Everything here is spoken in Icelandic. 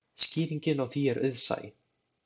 Skýringin á því er auðsæ.